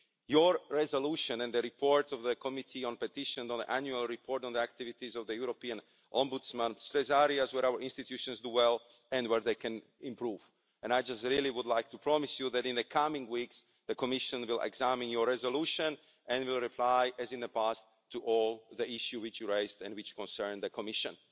Your resolution and the report of the Committee on Petitions on the annual report on the activities of the European Ombudsman stress areas where our institutions do well and where they can improve and I would just really like to promise you that in the coming weeks, the Commission will examine your resolution and will reply, as in the past, to all the issues which you raised and which concern the Commission.